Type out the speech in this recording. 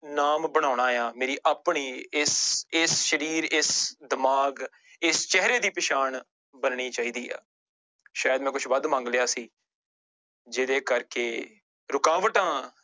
ਨਾਮ ਬਣਾਉਣਾ ਆਂ ਮੇਰੀ ਆਪਣੀ ਇਸ ਇਸ ਸਰੀਰ ਇਸ ਦਿਮਾਗ ਇਸ ਚਿਹਰੇ ਦੀ ਪਛਾਣ ਬਣਨੀ ਚਾਹੀਦੀ ਆ, ਸ਼ਾਇਦ ਮੈਂ ਕੁਛ ਵੱਧ ਮੰਗ ਲਿਆ ਸੀ ਜਿਹਦੇ ਕਰਕੇ ਰੁਕਾਵਟਾਂ